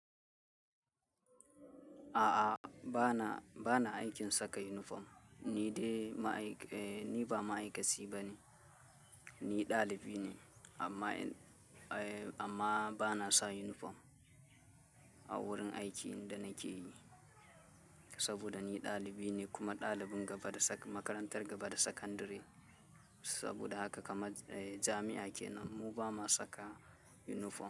A'a, bana, bana aikin saka unifom. Ni dai ma aika. Ni ba ma'aikaci ba ne, ni ɗalibi ne amma, amma ba na sa yunifom a wurin aiki inda nake saboda ni ɗalibi ne kuma dalibin gaba da makarantar gaba da sakandare. Saboda haka kamar jami'a kenan, mu ba ma saka yunifom.